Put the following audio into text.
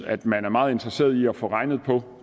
at man er meget interesseret i at få regnet på